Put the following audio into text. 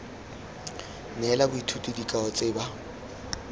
neela boithuti dikao tse ba